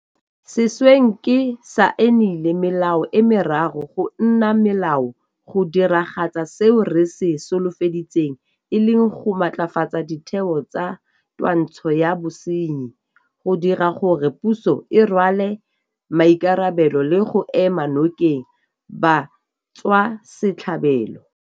Sešweng ke saenile melao e meraro go nna melao go diragatsa seo re se solofeditseng e leng go matlafatsa ditheo tsa twantsho ya bosenyi, go dira gore puso e rwale maikarabelo le go ema nokeng batswasetlhabelo.